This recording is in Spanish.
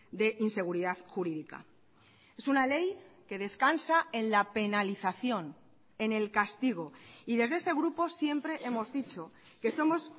de inseguridad jurídica es una ley que descansa en la penalización en el castigo y desde este grupo siempre hemos dicho que somos